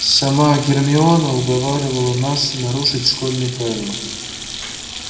сама гермиона уговаривала нас нарушить школьные правила